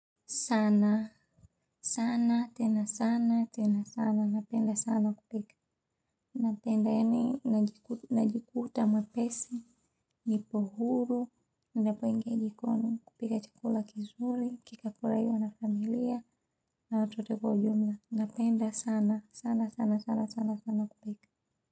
Sana, sana, tena sana, tena sana, napenda sana kupika. Napenda eni, najikuta mwepesi, nipohuru, ninapoingia jikoni kupika chakula kizuri, kikafuraiwa na familia, na watu wote kwa ujumla, napenda sana, sana, sana, sana, sana, sana kupika.